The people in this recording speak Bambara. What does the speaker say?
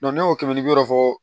ne y'o kɛmɛ bi wɔɔrɔ fɔ